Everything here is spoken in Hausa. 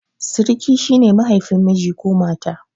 Siriki shi ne mahaifin miji ko mata.